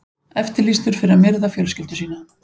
Eftirlýstur fyrir að myrða fjölskyldu sína